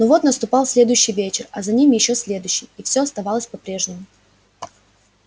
но вот наступал следующий вечер а за ним ещё следующий и все оставалось по-прежнему